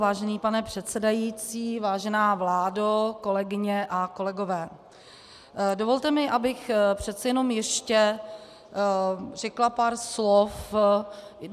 Vážený pane předsedající, vážená vládo, kolegyně a kolegové, dovolte mi, abych přece jenom ještě řekla pár slov.